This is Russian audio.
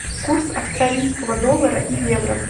курс австралийского доллара и евро